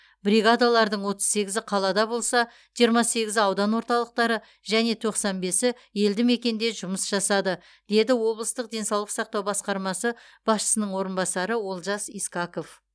бригадалардың отыз сегізі қалада болса жиырма сегізі аудан орталықтары және тоқсан бесі елді мекенде жұмыс жасады деді облыстық денсаулық сақтау басқармасы басшысының орынбасары олжас искаков